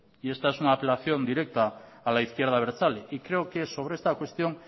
y esta es un apelación directa a la izquierda abertzale y creo que sobre esta cuestión